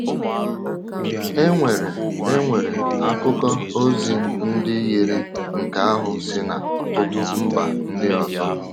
E nwere E nwere akụkọ ozi ndị yiri nke ahụ si n’ọtụtụ mba ndị ọzọ.